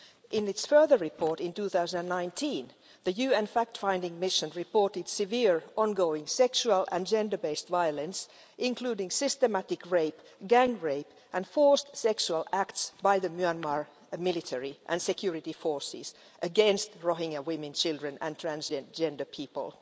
In its further report in 2019 the UN fact-finding mission reported severe ongoing sexual and gender-based violence, including systematic rape, gang rape and forced sexual acts by the Myanmar military and security forces against Rohingya women, children and transgender people.